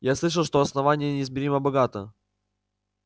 я слышал что основание неизмеримо богато